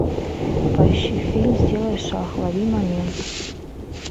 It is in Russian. поищи фильм сделай шаг лови момент